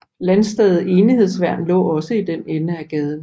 Landstedet Enighedsværn lå også i den ende af gaden